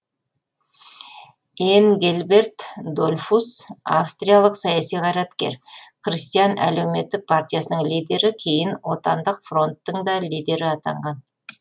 энгельберт дольфус австриялық саяси қайраткер христиан әлеуметтік партиясының лидері кейін отандық фронттың да лидері атанған